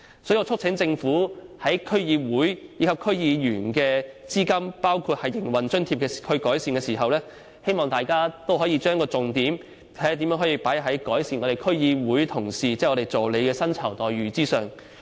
所以，我促請政府在改善對區議會和區議員的撥款包括營運津貼時，可以把重點放在如何改善區議會同事即議員助理的薪酬待遇上。